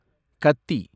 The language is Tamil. கத்தி